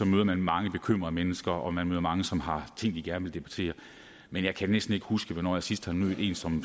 møder man mange bekymrede mennesker og man møder mange som har ting de gerne vil debattere men jeg kan næsten ikke huske hvornår jeg sidst har mødt en som